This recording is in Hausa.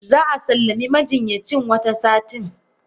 Zaa sallami majinyacin Wata satin.